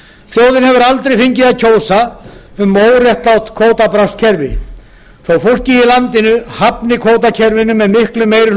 þjóðin hefur aldrei fengið að kjósa um óréttlátt kvótabraskskerfi þótt fólkið í landinu hafni kvótakerfinu með miklum meiri